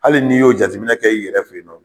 Hali n'i y'o jateminɛ kɛ i yɛrɛ fe yen nɔ